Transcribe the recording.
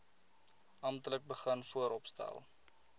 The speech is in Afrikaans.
amptelik begin vooropstel